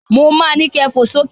Mo ma ni kẹ fò sókè